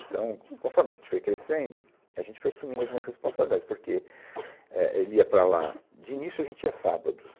Então, conforme a gente foi crescendo, a gente foi assumindo algumas responsabilidades, porque, éh, ele ia para lá... De início, a gente ia sábados.